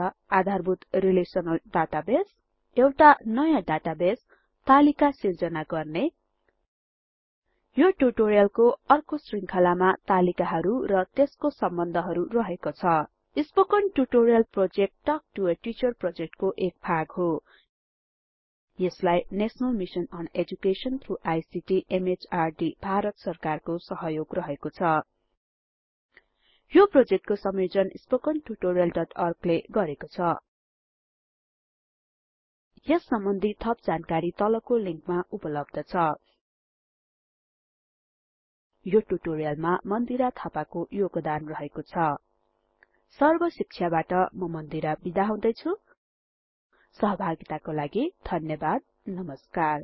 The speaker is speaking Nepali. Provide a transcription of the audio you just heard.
आधारभूत रिलेसनल डाटाबेस एउटा नयाँ डाटाबेस तालिका सिर्जना गर्ने यो ट्युटोरियलको अर्को शृंखलामा तालिकाहरु र त्यसको सम्बन्धहरु रहेको छ spoken tutorial project talk to a teacher प्रोजेक्टको एक भाग हो यसलाई national mission on education through ICT MHRD Bharat सरकारको सहयोग रहेको छ यो प्रोजेक्टको संयोजन स्पोकन tutorialओर्ग ले गरेको छ यस सम्बन्धि थप जानकारी तलको लिंकमा उपलब्ध छ यो ट्युटोरियलमा मन्दिरा थापाको योगदान रहेको छ सर्ब शिक्षाबाट म मन्दिरा बिदा हुदैछु सहभागिताको लागि धन्यवाद नमस्कार 1256